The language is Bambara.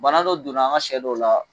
Bana dɔ donna an ga sɛ dɔw la